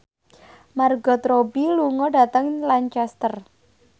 Margot Robbie lunga dhateng Lancaster